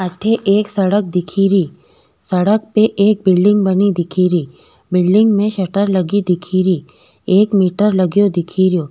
अठे एक सड़क दिखे री सड़क पे एक बिलडिंग बनी दिखे री बिलडिंग में शटर लगे दिखे री एक मीटर लगयो दिखे रियो।